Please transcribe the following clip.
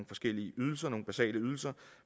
forskellige ydelser nogle basale ydelser